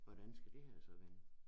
Hvordan skal det her så vende